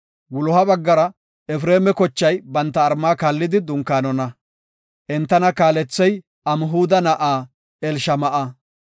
Wuloha baggara Efreema baggay banta malla kaallidi dunkaanona. Entana kaalethey Amhuda na7aa Elishama7a.